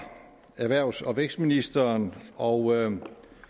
erhvervs og vækstministeren og